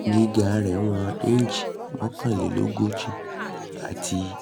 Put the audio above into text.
gíga rẹ̀ jẹ́ ìwọ̀n inch mọ́kànlélógójì ati